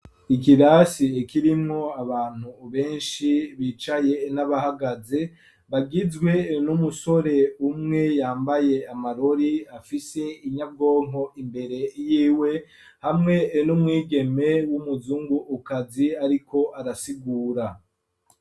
Ikirasi ikirimwo abantu benshi bicaye n'abahagaze bagizwe n'umusore umwe yambaye amarori afise inyabwonko imbere y'iwe hamwe n'umwigeme w'umuzungukazi ariko arasigura.